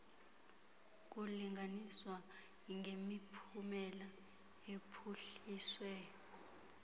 kulinganiswa ngemiphumela ephuhliswe